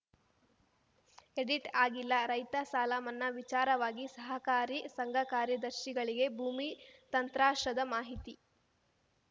edit ಆಗಿಲ್ಲ ರೈತ ಸಾಲ ಮನ್ನಾ ವಿಚಾರವಾಗಿ ಸಹಕಾರಿ ಸಂಘಕಾರ್ಯದರ್ಶಿಗಳಿಗೆ ಭೂಮಿ ತತ್ರಾಂಶದ ಮಾಹಿತಿ